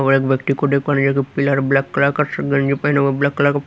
और एक व्यक्ति को देखो प्लेयर ब्लैक कलर का स गंजी पहने हुए ब्लैक कलर --